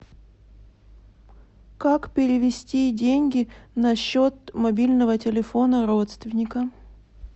как перевести деньги на счет мобильного телефона родственника